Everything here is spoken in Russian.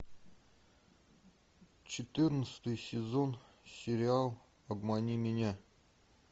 четырнадцатый сезон сериал обмани меня